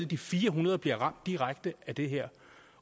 de fire hundrede bliver ramt direkte af det her